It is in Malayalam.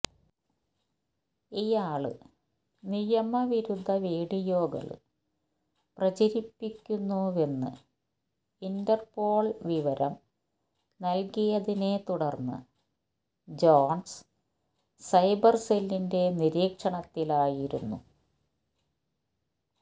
ഇയാള് നിയമവിരുദ്ധ വീഡിയോകള് പ്രചരിപ്പിക്കുന്നുവെന്ന് ഇന്റര്പോള് വിവരം നല്കിയതിനെ തുടര്ന്ന് ജോണ്സ് സൈബര് സെല്ലിന്റെ നിരീക്ഷണത്തിലായിരുന്നു